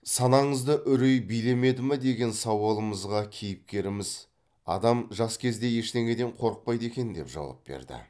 санаңызды үрей билемеді ме деген сауалымызға кейіпкеріміз адам жас кезде ештеңеден қорықпайды екен деп жауап берді